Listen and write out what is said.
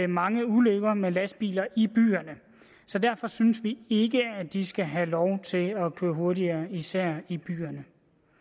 mange ulykker med lastbiler i byerne derfor synes vi ikke at de skal have lov til at køre hurtigere især i byerne